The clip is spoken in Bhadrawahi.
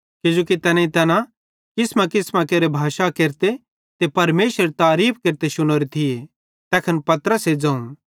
किजोकि तैनेईं तैना किसमेकिसमेरी भाषां केरते ते परमेशरेरी तारीफ़ केरते शुनोरी थिये तैखन पतरसे ज़ोवं